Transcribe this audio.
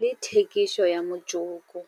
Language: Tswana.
le thekiso ya motsoko.